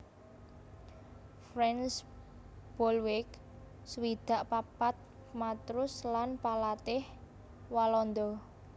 Frans Bolweg swidak papat matrus lan palatih Walanda